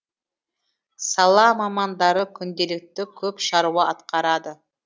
сала мамандары күнделікті көп шаруа атқарады